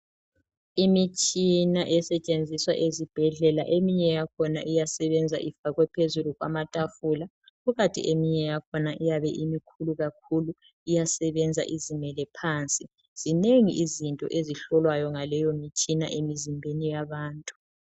Imitshina esetshenziswa ezibhedlela eminye yakhona iyasebenza ifakwe phezulu kwamatafula kukanti eminye yakhona iyabe imikhulu kakhulu iyasebenza izimele phansi, zinengi izinto ezihlolwayo ngaleyo mitshina emizimbeni yabantu.